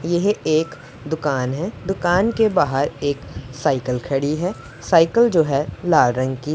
यह एक दुकान है दुकान के बाहर एक साइकल खड़ी है साइकल जो है लाल रंग की--